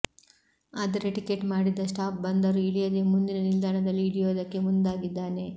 ಆದರೆ ಟಿಕೆಟ್ ಮಾಡಿದ್ದ ಸ್ಟಾಪ್ ಬಂದರೂ ಇಳಿಯದೇ ಮುಂದಿನ ನಿಲ್ದಾಣದಲ್ಲಿ ಇಳಿಯೋದಕ್ಕೆ ಮುಂದಾಗಿದ್ದಾನೆ